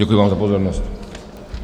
Děkuji vám za pozornost.